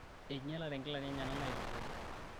enyialate inkilani enyena naitukuoki